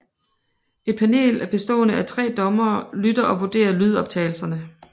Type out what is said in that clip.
Et panel bestående af tre dommere lytter og vurderer lydoptagelserne